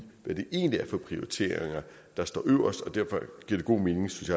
hvad det egentlig er for prioriteringer der står øverst derfor giver det god mening synes